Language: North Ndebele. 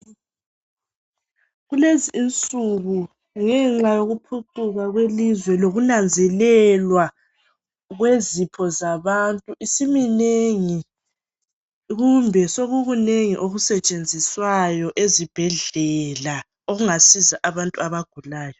Kulezi insuku ngenxa yokuphucuka kwelizwe lokunanzelelwa kwezipho zabantu isiminengi kumbe sokukunengi okusetshenziswayo ezibhedlela okungasiza abantu abagulayo.